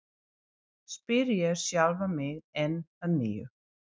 spyr ég sjálfan mig enn að nýju.